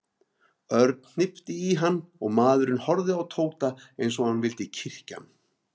Örn hnippti í hann og maðurinn horfði á Tóta eins og hann vildi kyrkja hann.